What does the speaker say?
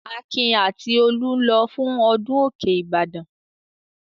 Akin àti Olú ń lọ fún ọdún òkè Ìbàdàn.